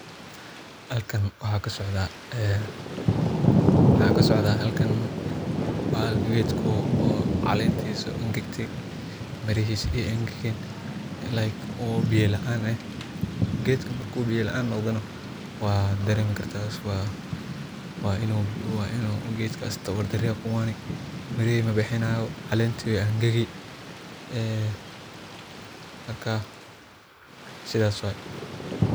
Halkan waxaa kasocdaa ee waa geedku calentisa angagte mirihisa ee an gagen oo biya laan ah geedka marku biya laan noqdana waa daremi kartaa waa inu geedkas tawar dari mirihi manoqeneyso linta wey angagi ee marka sithas waye.